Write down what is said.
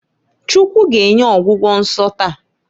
Chukwu g'enye ọgwụgwọ nso taa.